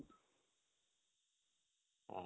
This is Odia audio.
ହୁଁ